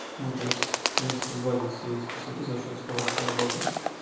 ну то есть в принципе сгладит все эти косяки за счёт скорости работы